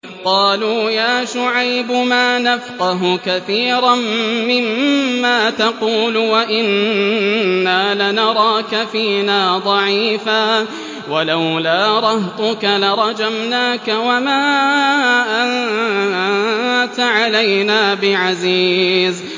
قَالُوا يَا شُعَيْبُ مَا نَفْقَهُ كَثِيرًا مِّمَّا تَقُولُ وَإِنَّا لَنَرَاكَ فِينَا ضَعِيفًا ۖ وَلَوْلَا رَهْطُكَ لَرَجَمْنَاكَ ۖ وَمَا أَنتَ عَلَيْنَا بِعَزِيزٍ